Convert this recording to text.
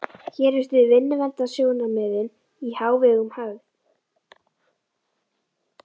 Hér virtust vinnuverndarsjónarmiðin í hávegum höfð.